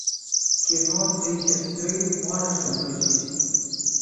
кино три сестры можешь включить